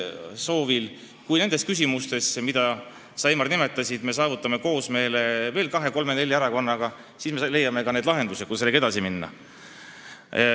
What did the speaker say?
Kui me nendes küsimustes, mida sa, Heimar, nimetasid, saavutame koosmeele kahe-kolme-nelja erakonnaga, siis me leiame ka lahendused, kuidas edasi minna.